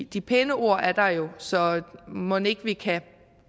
de pæne ord er der jo så mon ikke vi kan